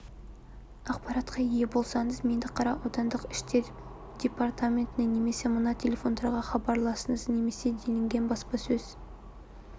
ақпаратқа ие болсаңыз меңдіқара аудандық ішкі істер департаментіне немесе мына телефондарға хабарласыңыз немесе делінген баспасөз